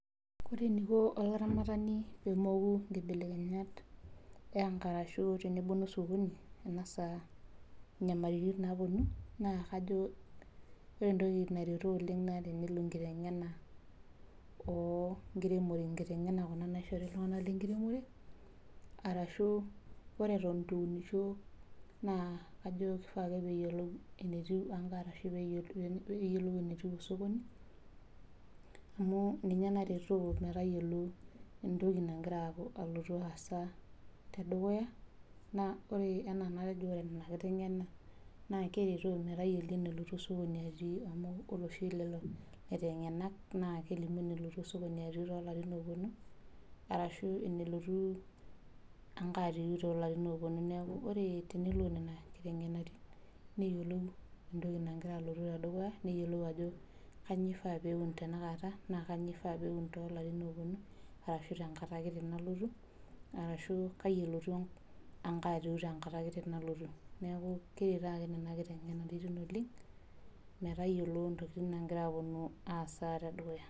Ore eneiko olaramatani peemkou inkibelekenyat arashu tenemoku osokoni kuna saa enyamaliritin naaponu, naa kajo ore entoki naretu oleng naa tenelo enkitengena onkiremore, nkitengena naishori iltungana le nkiremore arashu ore eitu eunisho, naa ajo siake peeyiolou enetiu arashu peeyiolou enetiu sokoni amu ninye naretoo entoki nagira aloto te dukuya naa ore naaji ina nkitengena naa keretoo metayiolo enetiu sokoni atii amu ore oshi lelo laitengenak naa kelimu enelo osokoni atiu to nkatitin naponu ashu enelotu enkatitin too ilarin ooponu neaku ore tenilo nenia nkitengenatin neyiolou entoki nagira alotu te dukuya, neyiolou ajo kanyio ade eun tanakata na kanyio taata eun too ilarrin ooponu ashu tenkata ake nalotu ashu kaji elotu enkaitoki tenkata kiti nalotu. Neaku keyeu taata ina kitengena oleng metayiolo ntokitin naagira aaponu aasa te dukuya.